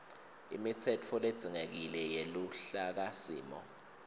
imitsetfo ledzingekile yeluhlakasimo